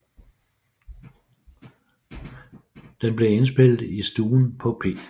Den blev indspillet i stuen på P